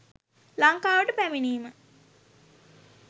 ලංකාවට පැමිණීම